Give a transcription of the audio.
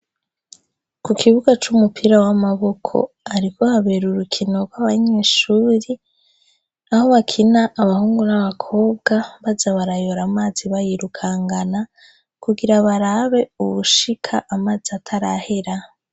Ku kibuga c'umupira w'amaboko ,hariko habera urukino rw'abanyeshuri ,aho bakina abahungu n'abakobwa baza barayora amazi bayirukangana kugira barabe uwushika amazi atarahera.